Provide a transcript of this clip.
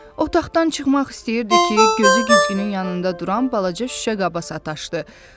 Otaqdan çıxmaq istəyirdi ki, gözü güzgünün yanında duran balaca şüşə qaba sataşdı.